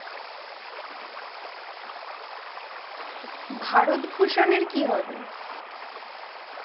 ভারত ভুশন এর কি হবে?